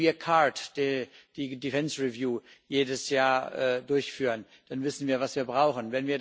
Wenn wir CARD, die Defence Review jedes Jahr durchführen, dann wissen wir, was wir brauchen.